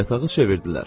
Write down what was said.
Yatağı çevirdilər.